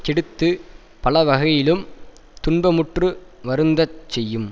கெடுத்துப் பலவகையிலும் துன்பமுற்று வருந்தச் செய்யும்